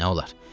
Nə olar?